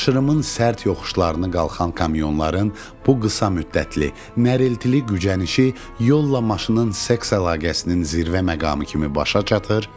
Aşırımın sərt yoxuşlarını qalxan kamyonların bu qısa müddətli nərəltili gücənişi yolla maşının seks əlaqəsinin zirvə məqamı kimi başa çatır.